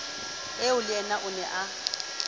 eo leyena o ne a